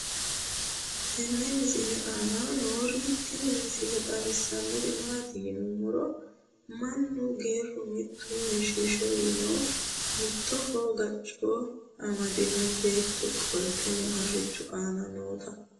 tenne misile aana noorina tini misile xawissannori maati yinummoro mannu geeru mittu heeshsho yiinno mittoho gacco ammadinno beetto qolittenno harichchu aana nootta